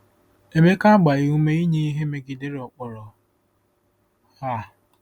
Emeka agbaghị ume inye ihe megidere ụkpụrụ a.